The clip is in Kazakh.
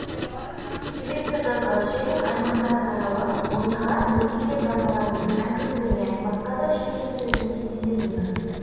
келесі жазға шейін аймақтарды аралап мыңдаған мүгедек аналармен әкімдермен басқа да шенеуніктермен кездесетінмін